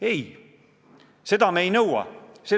Ei, seda me ei nõua.